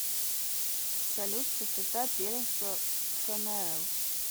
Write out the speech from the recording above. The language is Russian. салют частота первенство фнл